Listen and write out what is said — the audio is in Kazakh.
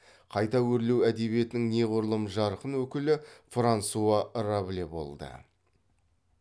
қайта өрлеу әдебиетінің неғұрлым жарқын өкілі франсуа рабле болды